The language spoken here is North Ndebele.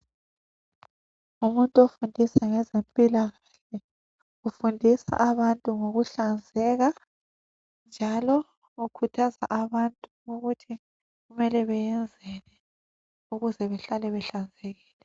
Umuntu ofundisa ngezempilakahle ufundisa abantu ngokuhlanzeka njalo ukhuthaza abantu ukuthi mele beyenzeni ukuze behlale behlanzekile.